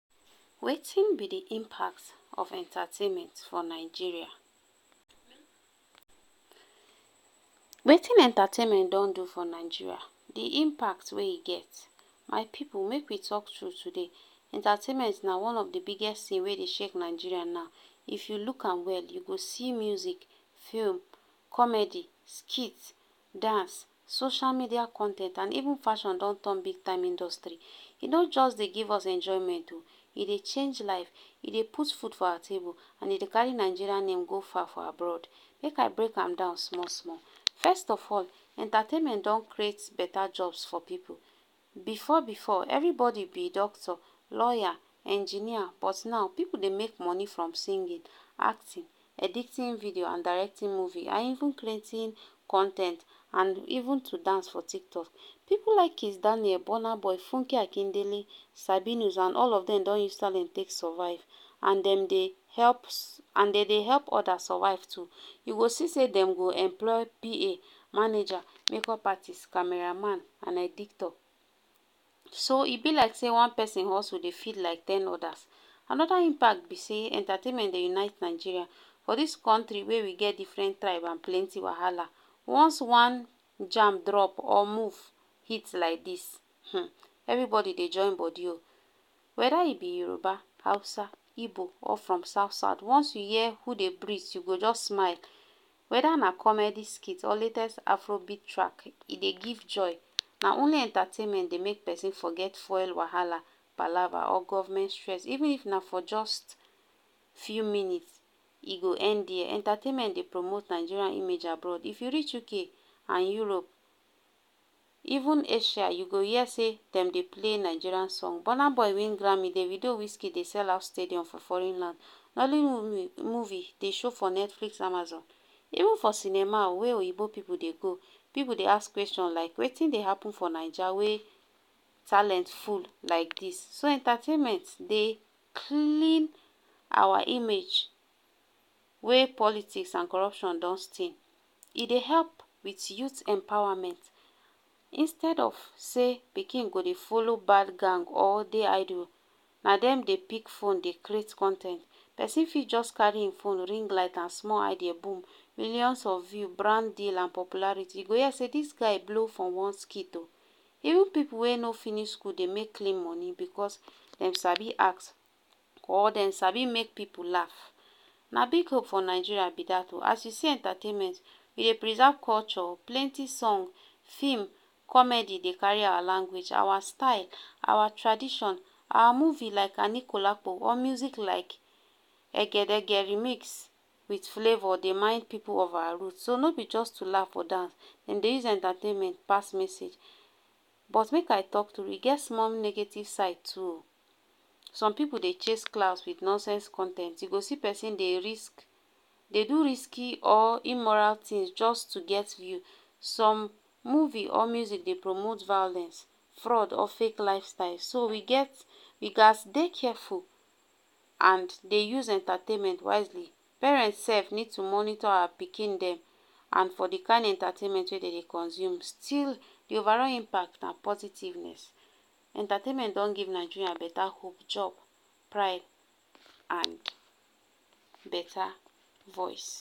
Wetin b d impact of entertainment for Nigeria, Wetin entertainment don do for Nigeria d impact wey e get, my pipu make we talk true today, entertainment na one of d biggest tin wey Dey shake Nigeria now, if you look am well u go see music, film, comedy, skits, dance, social media con ten t and even fashion don turn big time industry, e no jus Dey give us enjoyment o, e Dey change life, e Dey put food for our table and e Dey carry Nigeria name go far for abroad, make I break an down small small. First of all, entertainment don create beta jobs for pipu, before before, everybody b doctor lawyer engineer but now pipu Dey make money from singing, acting, editing video and directing movie and even creating con ten t and even to dance for TikTok.pipu like kiss Daniel, burna boy, funke akindele, sabinus and all of dem don use talent take survive and dem Dey help and Dem dey help odas survive too, you go see sey dem go employ PA, manager, makeup artist, camera man and editor, so e b like sey one persin hustle Dey feed like ten odas, anoda impact b sey entertainment Dey unite Nigeria, for dis country wey we get different tribe and plenty wahala, once one jam drop or move hit like dis, um everybody Dey join body o, weda u b Yoruba, Hausa, Igbo or from south south, once you hear who Dey breath u go just smile, weda na comedy skit or latest Afrobeat track, e Dey give joy na only entertainment Dey make persin forget fuel wahala palava or government stress, even if na for jus few minutes e go end there, entertainment Dey promote nigeria image abroad if u reach UK and Europe even Asia you go hear sey dem Dey play Nigeria song, burna boy win Grammy, da ido wiz kid Dey sell out stadium for foreign land, nollywood movie Dey show for Netflix, Amazon even for cinema wey oyinbo pipu Dey go, pipu Dey ask question like Wetin Dey happen for naija wey talent full like dis, so entertainment Dey clean our image wey politics and corruption don stain e Dey help with youth empowerment, instead of say pikin go Dey follow bad gang or Dey idle, na dem Dey pick phone Dey create con ten t, person fit jus carry hin phone ring light and small eye Dey boom millions of views, branding and popularity, u go hear sey dis guy blow for one skit o, even pipu wey no finish school Dey make clean money because dem Abi act, or dem sabi make pipu laugh, na big work for Nigeria b dat, as u see entertainment e Dey preserve culture plenty song, film, comedy Dey carry our language, our style, our tradition our movie, like anikulapo or music like egedege remix with flavor Dey remind people of our root, no b just to laugh or dance, Dem dey use entertainment pass message, but make I talk tru e get small negative side too o, some pipu de chase clout with nonsense con ten t u go see persin dey risk dey do risky or immoral things jus to get view, some movie or music dey promote violence, fraud or fake life style, so we gets, we gaz dey careful and dey use entertainment wisely, parent sef need to monitor our pikin dem and for d kind entertainment wey dem Dey consume, still d overall impact na positiveness, entertainment don give Nigeria beta hope job, pride and beta voice.